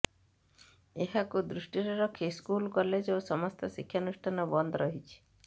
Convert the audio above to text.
ଏହାକୁ ଦୃଷ୍ଟିରେ ରଖି ସ୍କୁଲ କଲେଜ ଓ ସମସ୍ତ ଶିକ୍ଷାନୁଷ୍ଠାନ ବନ୍ଦ ରହିଛି